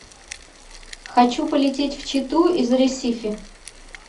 хочу полететь в читу из ресифи